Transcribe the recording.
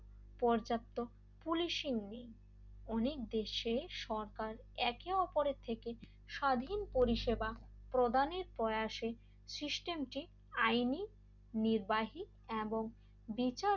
পর্যাপ্ত পুলিশিং নেই অনেক দেশে সরকার একে অপরের থেকে স্বাধীন পরিষেবা প্রদানের প্রয়াসে সিস্টেমটি আইনি নির্বাহী এবং বিচার